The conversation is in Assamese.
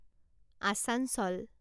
আচাঞ্চল